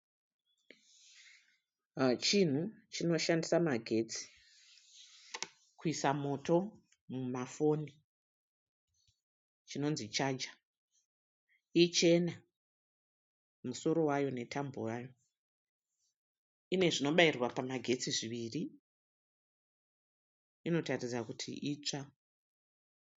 Chinhu chinoshandisa magetsi kuisa moto mumafoni chinonzi chaja. Ichena musoro wayo netambo yayo. Ine zvinobairwa pamagetsi zviviri. Inotaridza kuti itsva.